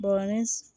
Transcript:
Bɔrɔnin